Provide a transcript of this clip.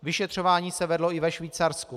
Vyšetřování se vedlo i ve Švýcarsku.